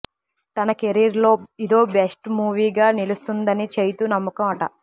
తన కెరీర్ లో ఇదో బెస్ట్ మూవీగా నిలుస్తుందన్నది చైతూ నమ్మకం అట